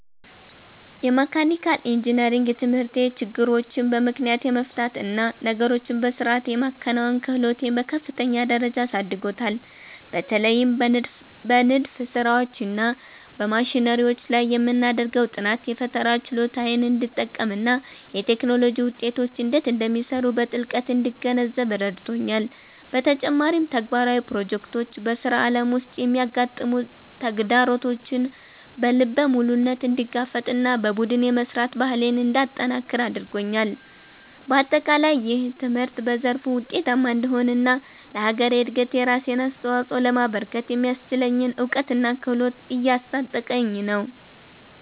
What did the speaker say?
የመካኒካል ኢንጂነሪንግ ትምህርቴ ችግሮችን በምክንያት የመፍታት እና ነገሮችን በሥርዓት የማከናወን ክህሎቴን በከፍተኛ ደረጃ አሳድጎታል። በተለይም በንድፍ ሥራዎች እና በማሽነሪዎች ላይ የምናደርገው ጥናት፣ የፈጠራ ችሎታዬን እንድጠቀምና የቴክኖሎጂ ውጤቶች እንዴት እንደሚሰሩ በጥልቀት እንድገነዘብ ረድቶኛል። በተጨማሪም፣ ተግባራዊ ፕሮጀክቶች በሥራ ዓለም ውስጥ የሚያጋጥሙ ተግዳሮቶችን በልበ ሙሉነት እንድጋፈጥና በቡድን የመሥራት ባህሌን እንዳጠነክር አድርገውኛል። በአጠቃላይ፣ ይህ ትምህርት በዘርፉ ውጤታማ እንድሆንና ለሀገሬ እድገት የራሴን አስተዋፅኦ ለማበርከት የሚያስችለኝን እውቀትና ክህሎት እያስታጠቀኝ ነው።